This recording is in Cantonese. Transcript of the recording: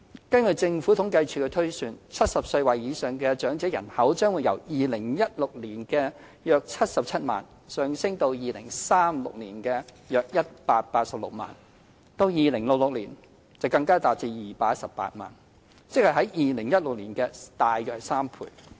根據政府統計處的推算 ，70 歲或以上長者人口將由2016年的約77萬，上升至2036年的約186萬；至2066年，人數更達218萬，即為2016年的3倍左右。